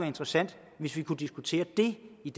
interessant hvis vi kunne diskutere det i